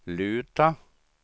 luta